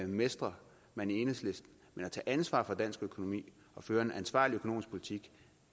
mestrer man i enhedslisten men at tage ansvar for dansk økonomi og føre en ansvarlig økonomisk politik